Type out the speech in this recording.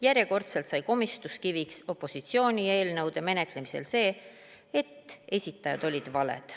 Järjekordselt sai komistuskiviks opositsiooni eelnõude menetlemisel see, et esitajad olid valed.